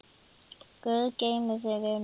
Guð geymi þig, vinur.